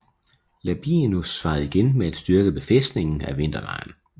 Labienus svarede igen med at styrke befæstningen af vinterlejren